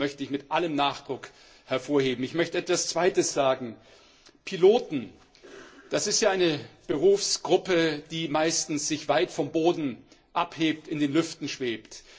Das möchte ich mit allem Nachdruck hervorheben. Ich möchte etwas Zweites sagen Piloten, das ist eine Berufsgruppe, die sich meistens weit vom Boden abhebt, in den Lüften schwebt.